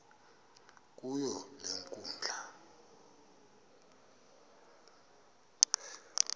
kuyo le nkundla